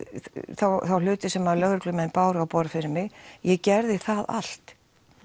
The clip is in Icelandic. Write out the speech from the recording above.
þá hluti sem lögreglumenn báru á borð fyrir mig ég gerði það allt